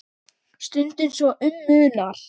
Stundum svo um munar.